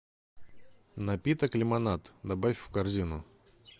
напиток лимонад добавь в корзину